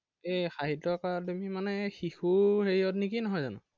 এৰ সাহিত্য একাডেমী মানে শিশু হেৰিয়ত নেকি নহয় জানো?